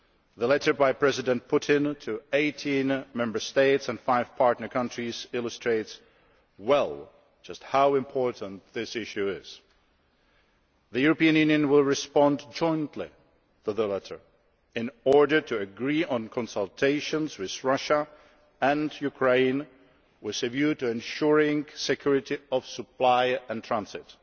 The letter by President Putin to 18 Member States and five partner countries illustrates well just how important this issue is. The European Union will respond jointly to the letter, in order to agree on consultations with Russia and Ukraine, with a view to ensuring security of supply and transit.